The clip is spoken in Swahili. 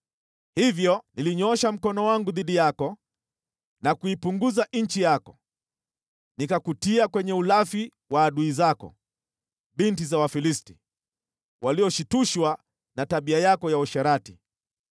Hivyo nilinyoosha mkono wangu dhidi yako na kuipunguza nchi yako, nikakutia kwenye ulafi wa adui zako, binti za Wafilisti, walioshtushwa na tabia yako ya uasherati.